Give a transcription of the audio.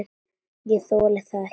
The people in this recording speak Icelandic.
Ég þoli það ekki,